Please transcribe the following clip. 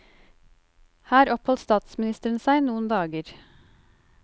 Her oppholdt statsministeren seg noen dager.